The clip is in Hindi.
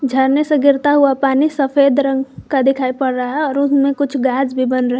झरने से गिरता हुआ पानी सफेद रंग का दिखाई पड़ रहा है और उसमें कुछ गैस भी बन रहे--